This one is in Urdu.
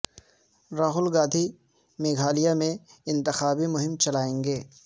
راہل گاندھی میگھالیہ میں انتخابی مہم چلائیں گے